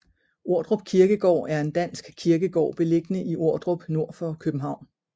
Ordrup Kirkegård er en dansk kirkegård beliggende i Ordrup nord for København